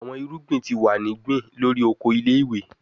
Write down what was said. Awọn irugbin ti wa ni gbin lori oko ile-iwe